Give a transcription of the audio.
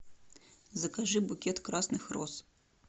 закажи букет красных роз